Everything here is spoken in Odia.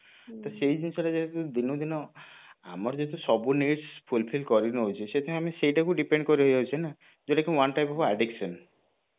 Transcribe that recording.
ତ ସେଇ ଜିନିଷଟା ଯେହେତୁ କିନ୍ତୁ ଦିନକୁ ଦିନ ଆମର ଯେହେତୁ ସବୁ needs Fulfill କରି ନଉଛି ତ ସେଇଥିପାଇଁ ସେଇଟାକୁ ଆମେ ତା ଉପରେ depend କରି ହେଇ ଯାଉଛି ନା ଯୋଉଟା କି one type of addiction